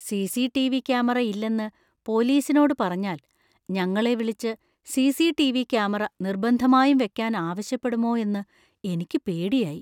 CCTV. Camera ഇല്ലെന്ന് പോലീസിനോട് പറഞ്ഞാൽ ഞങ്ങളെ വിളിച്ച് സി.സി.ടി.വി. ക്യാമറ നിർബന്ധമായും വെക്കാൻ ആവശ്യപ്പെടുമോ എന്ന് എനിക്ക് പേടിയായി.